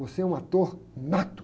Você é um ator nato.